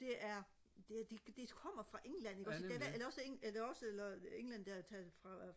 det er det kommer fra england ikke også eller også eller også england der tager det fra